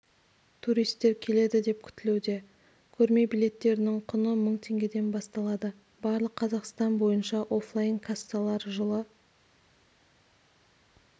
турист келеді деп күтілуде көрме билеттерінің құны мың теңгеден басталады барлық қазақстан бойынша оффлайн-кассалар жылы